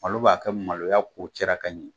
Olu b'a kɛ maloya k'o cɛra ka ɲɛ